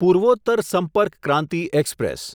Purvottar Sampark Kranti express